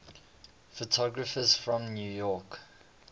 photographers from new york